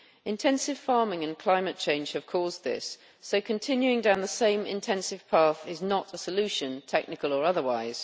Intensive farming and climate change have caused this, so continuing down the same intensive path is not a solution technical or otherwise.